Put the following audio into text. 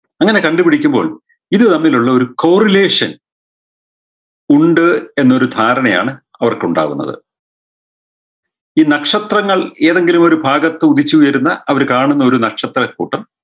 അങ്ങനെ കണ്ടുപിടിക്കുമ്പോൾ ഇത് തമ്മിലുള്ളൊരു corulation ഉണ്ട് എന്നൊരു ധാരണയാണ് അവർക്കുണ്ടാവുന്നത് ഈ നക്ഷത്രങ്ങൾ ഏതെങ്കിലും ഒരു ഭാഗത്തുദിച്ചുയരുന്ന അവര് കാണുന്ന ഒരു നക്ഷത്രക്കൂട്ടം